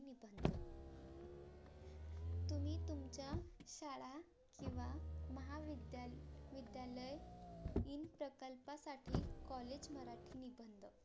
तुम्ही तुमच्या शाळा किंव्हा महाविद्याल विद्यालय इन सफलतासाठी COLLAGE मराठी निबंध